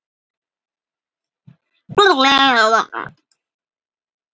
Já, mig langar að prófa.